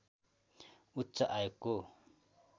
उच्च आयोगको